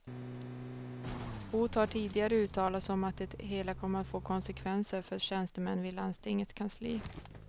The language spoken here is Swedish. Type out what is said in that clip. Hot har tidigare uttalats om att det hela kommer att få konsekvenser för tjänstemän vid landstingets kansli.